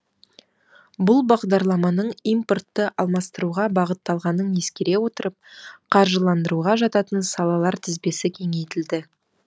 бұл бағдарламаның импортты алмастыруға бағытталғанын ескере отырып қаржыландыруға жататын салалар тізбесі кеңейтілді